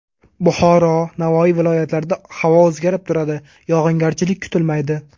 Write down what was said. Buxoro, Navoiy viloyatlarida havo o‘zgarib turadi, yog‘ingarchilik kutilmaydi.